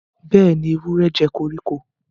Béèni, ewúrẹ jé koríko.